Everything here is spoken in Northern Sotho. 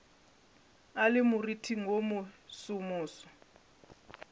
a le moriting wo mosomoso